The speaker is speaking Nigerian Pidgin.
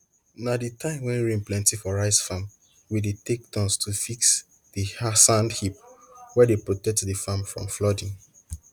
na di time wen rain plenty for rice farm we dey take turns to fix di sand heap wey dey protect di farm from flooding